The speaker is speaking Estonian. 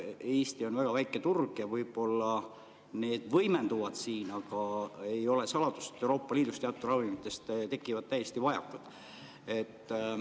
Eesti on väga väike turg ja võib-olla need mured võimenduvad siin, aga ei ole saladus, et Euroopa Liidus tekivad teatud ravimite vajakud.